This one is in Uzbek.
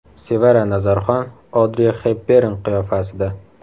Sevara Nazarxon Odri Xepbern qiyofasida.